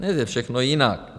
Dnes je všechno jinak.